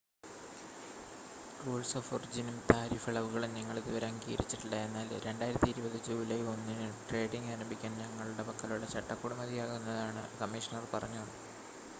"""Rules of ഒറിജിനും tariff ഇളവുകളും ഞങ്ങൾ ഇതുവരെ അംഗീകരിച്ചിട്ടില്ല എന്നാൽ 2020 ജൂലൈ 1-ന് ട്രേഡിംഗ് ആരംഭിക്കാൻ ഞങ്ങളുടെ പക്കലുള്ള ചട്ടക്കൂട് മതിയാകുന്നതാണ്" കമ്മീഷണർ പറഞ്ഞു.